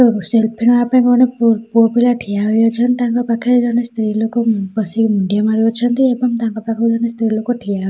selfie ନେବାପାଇଁ କଣ ଗୋଟେ ପୁ ପୁଅ ପିଲା ଠିଆ ହୋଇ ଅଛନ୍ତି ତାଙ୍କ ପାଖରେ ଜଣେ ସ୍ତ୍ରୀଲୋକ ବସିକି ମୁଣ୍ଡିଆ ମାରୁ ଅଛନ୍ତି ଏବଂ ତାଙ୍କ ପାଖରେ ଜଣେ ସ୍ତ୍ରୀଲୋକ ଠିଆ ହୋ--